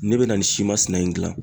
N'i bɛ na nin si masina in gilan